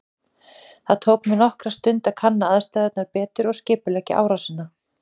Það tók mig nokkra stund að kanna aðstæðurnar betur og skipuleggja árásina.